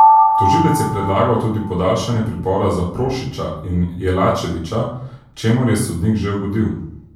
Tožilec je predlagal tudi podaljšanje pripora za Prošića in Jelačevića, čemur je sodnik že ugodil.